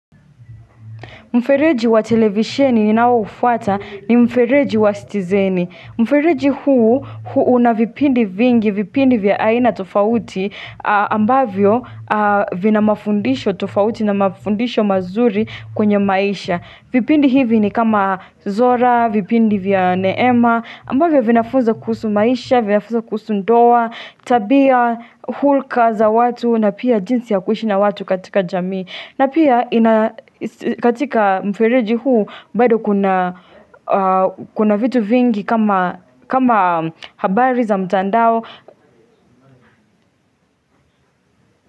Mfereji wa televisheni ninao ufwata ni mfereji wa stizeni. Mfereji huu, hu una vipindi vingi, vipindi vya aina tofauti, ambavyo vina mafundisho tofauti na mafundisho mazuri kwenye maisha. Vipindi hivi ni kama zora, vipindi vya neema, ambavyo vinafunza kuhusu maisha, vinafunza kuhusu ndoa, tabia, hulka za watu, na pia jinsi ya kuishi na watu katika jamii. Na pia ina katika mfereji huu bado kuna vitu vingi kama kama habari za mtandao.